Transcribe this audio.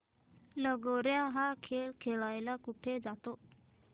लगोर्या हा खेळ कुठे खेळला जातो